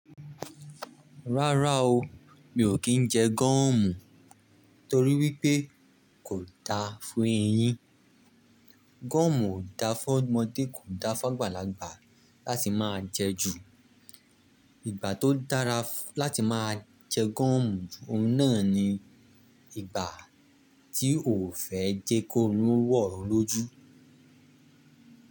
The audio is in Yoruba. Rárá o, mi ò kí ń jẹ gúọ́mù torí wípé kò da fún eyín. Gúọ́mù ò da fún ọmọdé, kò da fún àgbàlagbà láti máa jẹ ju. Ìgbà tó dára láti máa jẹ gúọ́mù, oun náà ni ìgbà tí o ò fẹ́ jẹ kórún wọ́ lójú.